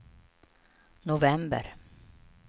november